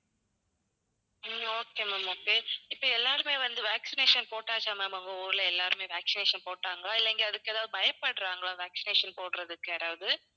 உம் okay ma'am okay. இப்ப எல்லாருமே வந்து vaccination போட்டாச்சா ma'am உங்க ஊர்ல எல்லாருமே vaccination போட்டாங்களா இல்ல இங்க அதுக்கு ஏதாவது பயப்படுறாங்களா vaccination போடுறதுக்கு யாராவது?